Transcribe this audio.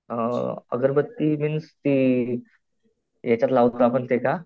अ अ अगरबत्ती मीन्स ती यांच्यात लावतो आपण ते का?